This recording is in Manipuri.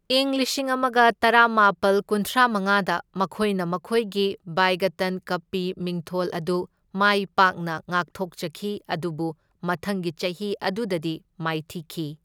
ꯏꯪ ꯂꯤꯁꯤꯡ ꯑꯃꯒ ꯇꯔꯥꯃꯥꯄꯜ ꯀꯨꯟꯊ꯭ꯔꯥ ꯃꯉꯥꯗ ꯃꯈꯣꯏꯅ ꯃꯈꯣꯏꯒꯤ ꯕꯤꯏꯒꯇꯟ ꯀꯞꯀꯤ ꯃꯤꯡꯊꯣꯜ ꯑꯗꯨ ꯃꯥꯏ ꯄꯥꯛꯅ ꯉꯥꯛꯊꯣꯛꯆꯈꯤ, ꯑꯗꯨꯕꯨ ꯃꯊꯪꯒꯤ ꯆꯍꯤ ꯑꯗꯨꯗꯗꯤ ꯃꯥꯏꯊꯤꯈꯤ꯫